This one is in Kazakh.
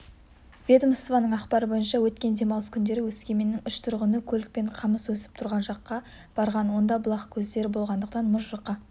ведомствоның ақпары бойынша өткен демалыс күндері өскеменнің үш тұрғыны көлікпен қамыс өсіп тұрған жаққа барған онда бұлақ көздері болғандықтан мұз жұқа